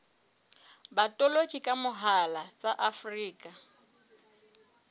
botoloki ka mohala tsa afrika